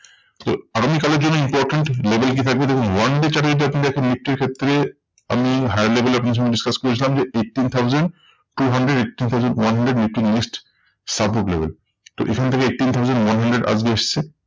তো আগামী কালের জন্য important level কি থাকবে? দেখুন one day chart এ যদি দেখেন নিফটির ক্ষেত্রে আপনি higher level এ আপনার সঙ্গে discuss করেছিলাম যে, eighteen thousand two hundred eighty পর্যন্ত one hundred Nifty newest support level. তো এখান থেকে eighteen thousand one hundred আজকে এসেছে।